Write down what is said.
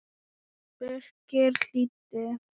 Birkir hlýddi.